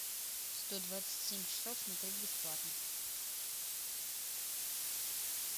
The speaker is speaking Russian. сто двадцать семь часов смотреть бесплатно